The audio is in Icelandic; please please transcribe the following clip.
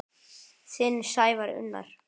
Þinn Sævar Unnar.